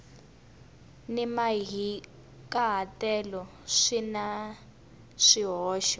ni mahikahatelo swi na swihoxo